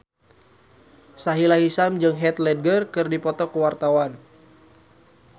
Sahila Hisyam jeung Heath Ledger keur dipoto ku wartawan